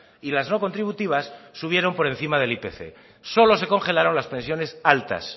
y las no contributivas subieron por encima del ipc solo se congelaron las pensiones altas